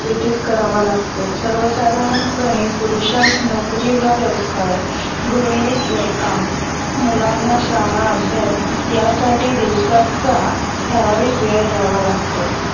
व्यतीत करावा लागतो. सर्वसाधारणपणे पुरुषास नौकरी व व्यवसाय, गृहिणीस घरकाम व मुलांना शाळा अभ्यास यासाठी दिवसाचा ठरविक वेळ द्यावा लागतो.